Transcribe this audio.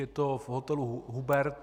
Je to v hotelu Hubert.